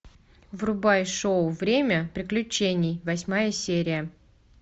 врубай шоу время приключений восьмая серия